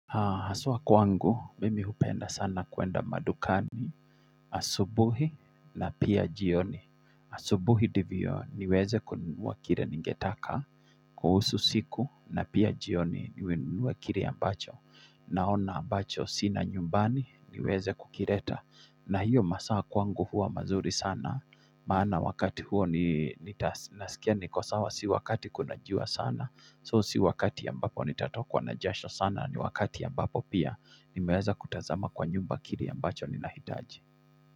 Haa haswa kwangu, mimi hupenda sana kuenda madukani Asubuhi na pia jioni, asubuhi ndivyo niweze kununua kile ningetaka kuhusu siku, na pia jioni niwenunue kile ambacho naona ambacho sina nyumbani niweze kukileta na hiyo masaa kwangu huwa mazuri sana maana wakati huo ni nasikia niko sawa si wakati kuna jua sana, So, si wakati ambapo nitatokuwa na jasho sana, ni wakati ya mbapo pia, nimeweza kutazama kwa nyumba kile ambacho ninahitaji.